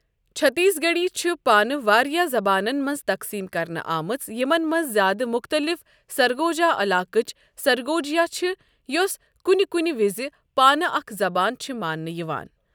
چھتیس گڑھی چھِ پانہٕ واریاہ زبانَن منٛز تقسیٖم کرنہٕ آمٕژ یِمَن منٛز زیادٕ مُختٔلِف سرگوجا علاقٕچ سرگوجیا چھِ یۄس کُنہِ کُنہِ وِز پانہٕ اکھ زبان چھِ ماننہِ یِوان۔